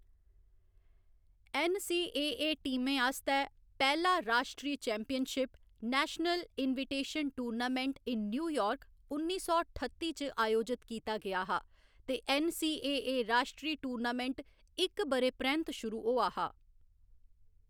NCAA. टीमें आस्तै पैह्‌ला राश्ट्री championship, national invitation tournament in New York, उन्नी सौ ठत्ती च अयोजत कीता गेआ हा ते ऐन्न.सी.ए.ए. राश्ट्री टूर्नामेंट इक ब'रे परैंत्त शुरू होआ हा।